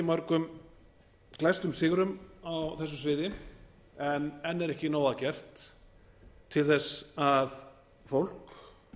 mörgum glæsta sigrum á þessu sviði en enn er ekki nóg að gert til að fólk